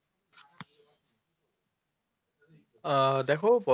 আহ দেখো